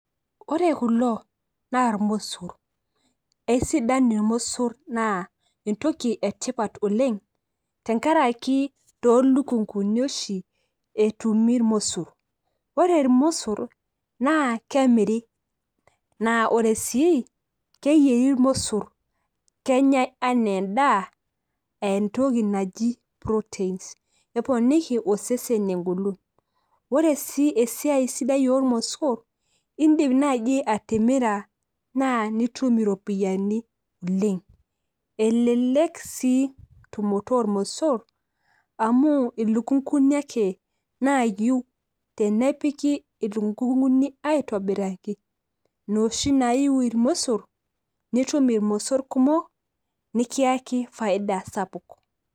ore kulo naa irmosor, eisidan irmosor naa entoki etipat oleng .tenkaraki too lukunkuni oshi etumi irmosor, ore irmosor naa kemiri, naa ore sii keyieri irmosor. kenyae anaa edaa.aa entoki naji proteins. eponiki osesen egolon. ore sii esiai sidai oormosor, idiim, naaji atimira naa nitum iropiyiani oleng, elelk sii tumot oormosor amu ilukunkuni ake naaiu. tenepiki ilukunkuni aitobiraki, inoshi naaiu irmosor, nitum irmosor kumok .nikiyaki faida sapuk.